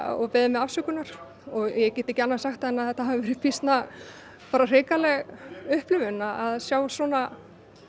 og beðið mig afsökunar og ég get ekki annað sagt en þetta hafi verið býsna hrikaleg upplifun að sjá svona